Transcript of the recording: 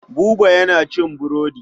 Buba yana cin burodi.